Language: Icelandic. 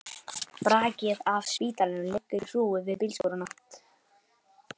Brakið af spítalanum liggur í hrúgu við bílskúrana.